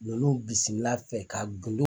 Nunu bisimila a fɛ ka gindo